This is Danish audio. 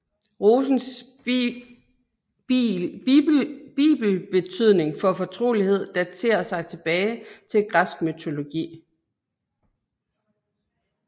Rosens bibetydning for fortrolighed daterer sig tilbage til græsk mytologi